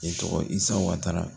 Ne tɔgɔ ye ISA WATARA.